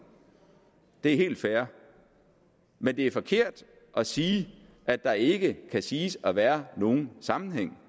det er helt fair men det er forkert at sige at der ikke kan siges at være nogen sammenhæng